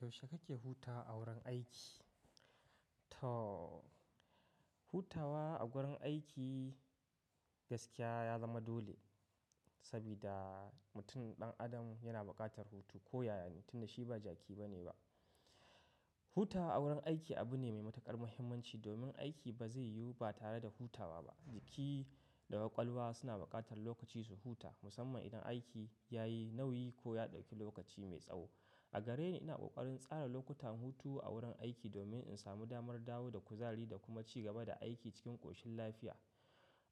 Yaushe kake hutawa a wurin aiki? To, hutawa a gurin aiki gaskiya ya zama dole, saboda mutum ɗan adam yana bukatar hutu ko yayane, tun da shi ba jaki ba ne ba. Hutawa awurin aiki abu ne mai matuƙar muhimmanci, domin aiki ba zai yiwu ba tare da hutawa ba. Jiki da kwakwalwa suna bukatar lokaci su huta, musamman idan aiki ya yi nauyi ko ya ɗauki lokaci mai tsawo. A gareni, ina ƙoƙarin tsara lokutan hutu a wurin aiki domin in samu damar dawo da kuzari da kuma ci gaba da aiki cikin ƙoshin lafiya.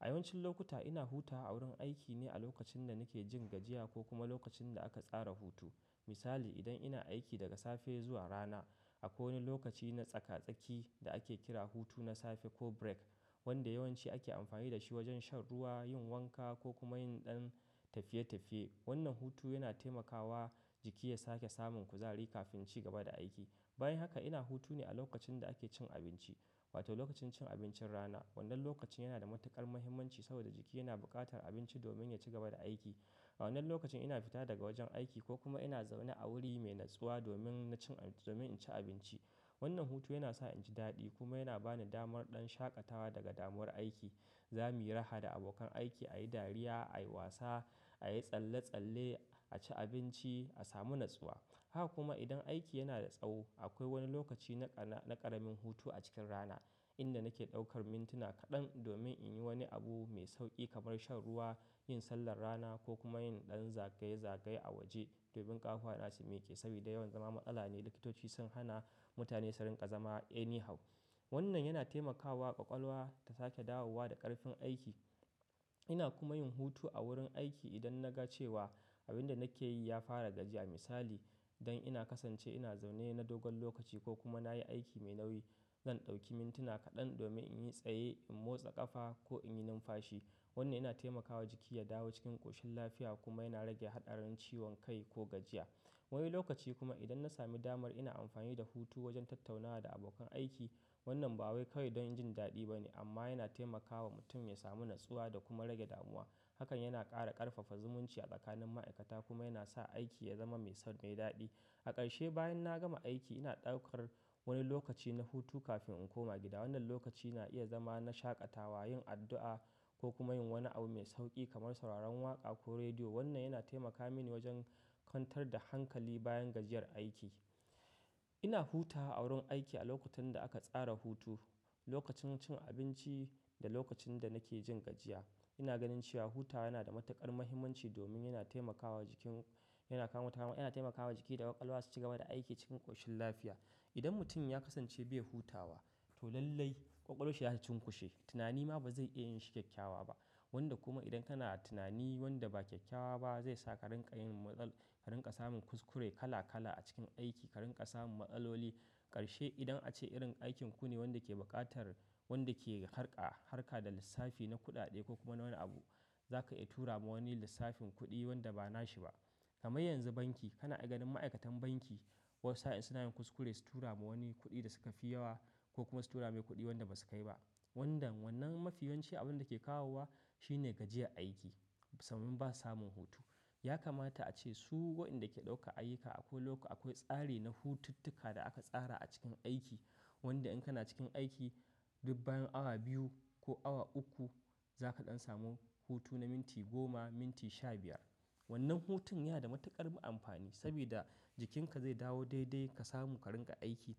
A yawancin lokuta ina hutawa a wurin aiki ne a lokacin da nake jin gajiya ko kuma lokacin da aka tsara hutu. Misali, idan ina aiki daga safe zuwa rana, akwai wani lokaci na tsaka-tsaki da ake kira hutu na safe ko break, wanda yawanci ake amfani da shi wajen shan ruwa, yin wanka ko kuma yin ɗan tafiye-tafiye. Wannan hutu yana taimakawa jiki ya sake samun kuzari kafin ci gaba da aiki. Bayan haka ina hutu ne a lokacin da ake cin abinci, wato lokacin cin abincin rana. Wannan lokaci yana da matuƙar muhimmanci saboda jiki yana bukatar abinci domin ya ci gaba da aiki. A wannan lokaci ina fita daga wajen aiki ko kuma ina zaune a wuri mai natsuwa domin na ci abinci. Wannan hutu yana sa in ji daɗi kuma yana ba ni damar ɗan shaƙatawa daga damuwar aiki. Zamu yi raha da abokan aiki, a yi dariya, a yi wasa, a yi tsalle-tsalle, a ci abinci, a samu natsuwa. Haka kuma idan aiki yana da tsawo, akwai wani lokaci na ƙaramin hutu a cikin rana inda nake ɗaukar mintuna kaɗan domin in yi wani abu mai sauƙi kamar shan ruwa, yin sallar rana ko kuma yin ɗan zagaye-zagaye a waje. Domin ƙafafuwa na su miƙe, saboda yawan zama matsala ne, likitoci sun hana mutane su rinƙa zama anyhow. Wannan yana taimakawa ƙwaƙwalwa ta sake dawowa da ƙarfin aiki. Ina kuma yin hutu a wurin aiki idan na ga cewa abin da nake yi ya fara gajiya. Misali, idan ina kasance ina zaune na dogon lokaci ko kuma na yi aiki mai nauyi, zan ɗauki mintuna kaɗan domin in yi tsaye, in motsa ƙafa ko in yi numfashi. Wannan yana taimakawa jiki ya dawo cikin ƙoshin lafiya kuma yana rage haɗarin ciwon kai ko gajiya. Wani lokaci kuma idan na sami damar ina amfani da hutu wajen tattaunawa da abokan aiki. Wannan ba wai kawai don jin daɗi ba ne, amma yana taimakawa mutum ya samu natsuwa da kuma rage damuwa. Hakan yana ƙara ƙarfafa zumunci a tsakanin ma'aikata kuma yana sa aiki ya zama mai daɗi. A ƙarshe bayan na gama aiki ina ɗaukar wani lokaci na hutu kafin in koma gida. Wannan lokaci na iya zama na shaƙatawa, yin addu'a ko kuma yin wani abu mai sauƙi kamar sauraron waƙa ko rediyo. Wannan yana taimaka mini wajen kwantar da hankali bayan gajiyar aiki. Ina hutawa a wurin aiki a lokutan da aka tsara hutu, lokacin cin abinci da lokacin da nake jin gajiya. Ina ganin cewa hutawa yana da matuƙar muhimmanci domin yana taimakawa jiki da ƙwaƙwalwa su ci gaba da aiki cikin ƙoshin lafiya. Idan mutum ya kasance bai hutawa, to lallai ƙwaƙwalwanshi zata cunkushe. Tunani ma ba zai iya yin shi kyakkyawa ba. Wanda kuma idan kana da tunani wanda ba kyakkyawa ba zai sa ka ringa yin matsala, ka ringa samun kuskure kala-kala a cikin aiki, ka rinka samun matsaloli. Ƙarshe idan ace irin aikinku ne wanda ke buƙatar wanda ke harka da lissafi na kuɗaɗe ko kuma wani abu, zaka iya tura ma wani lissafin kuɗi wanda ba nashi ba. Kamar yanzu banki, kana ganin ma'aikatan banki wasu sa'in suna yin kuskure su tura ma wani kuɗi da suka fi yawa ko kuma su tura mai kuɗi wanda ba su kai ba. Wannan mafiyawanci abun da ke kawowa shine gajiyan aiki sannan ba samun hutu. Ya kamata ace su wadanda ke ɗauka ayyuka akwai tsari na hututtuka da aka tsara a cikin aiki, wanda in kana cikin aiki duk bayan awa biyu ko awa uku zaka ɗan samu hutu na minti goma, minti shabiyar. Wannan hutun yana da matuƙar amfani saboda jikinka zai dawo daidai ka samu ka ringa aiki.